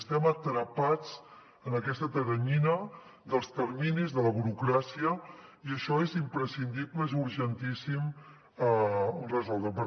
estem atrapats en aquesta teranyina dels terminis de la burocràcia i això és imprescindible es urgentíssim resoldre ho